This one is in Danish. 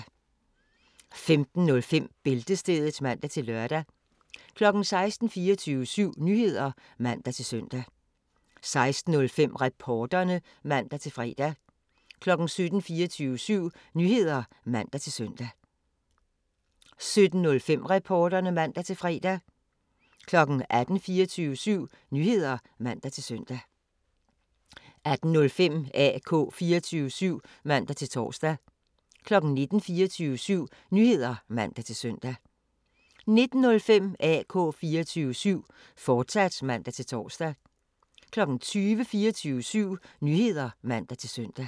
15:05: Bæltestedet (man-lør) 16:00: 24syv Nyheder (man-søn) 16:05: Reporterne (man-fre) 17:00: 24syv Nyheder (man-søn) 17:05: Reporterne (man-fre) 18:00: 24syv Nyheder (man-søn) 18:05: AK 24syv (man-tor) 19:00: 24syv Nyheder (man-søn) 19:05: AK 24syv, fortsat (man-tor) 20:00: 24syv Nyheder (man-søn)